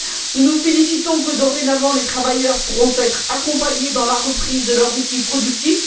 Nous nous félicitons de ce que, dorénavant, les travailleurs pourront être accompagnés dans la reprise de leur outil productif.